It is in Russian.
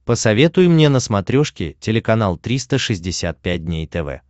посоветуй мне на смотрешке телеканал триста шестьдесят пять дней тв